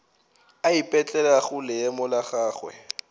a ipetlelago leemo la gagwe